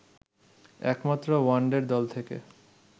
একমাত্র ওয়ানডের দল থেকে